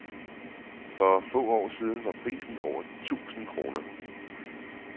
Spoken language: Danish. For få år siden var prisen over tusind krone.